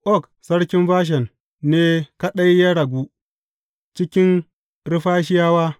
Og sarkin Bashan, ne kaɗai ya ragu cikin Refahiyawa.